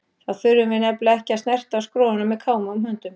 Þá þurftum við nefnilega ekki að snerta á skroinu með kámugum höndum!